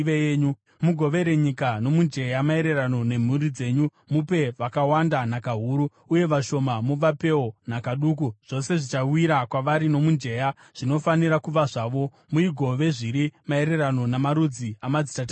Mugovere nyika nomujenya, maererano nemhuri dzenyu. Mupe vakawanda nhaka huru, uye vashoma muvapewo nhaka duku. Zvose zvichawira kwavari nomujenya zvinofanira kuva zvavo. Muigove zviri maererano namarudzi amadzitateguru enyu.